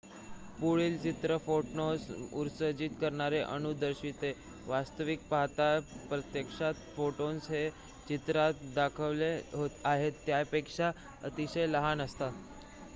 पुढील चित्र फोटॉन्स उत्सर्जित करणारे अणू दर्शविते वास्तविक पाहता प्रत्यक्षात फोटॉन्स हे चित्रात दाखविले आहेत त्यापेक्षा अतिशय लहान असतात